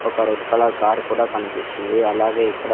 ఒక red colour car కూడా కనిపిస్తుంది అలాగే ఇక్కడ.